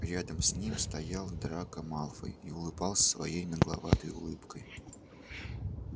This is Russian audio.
рядом с ним стоял драко малфой и улыбался своей нагловатой улыбкой